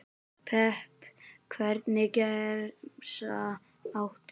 pepp Hvernig gemsa áttu?